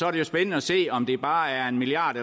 er jo spændende at se om det bare er en milliard